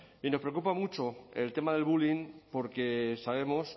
y nos preocupa mucho el tema del bullying porque sabemos